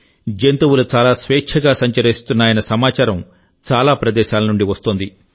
జంతువులు చాలా స్వేచ్ఛగా సంచరిస్తున్నాయన్న సమాచారం చాలా ప్రదేశాల నుండి వస్తోంది